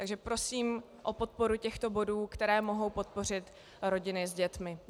Takže prosím o podporu těchto bodů, které mohou podpořit rodiny s dětmi.